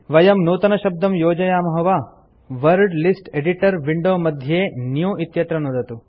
वयं नूतनशब्दं योजयामः वा वर्ड लिस्ट एडिटर विंडो मध्ये न्यू इत्यत्र नुदतु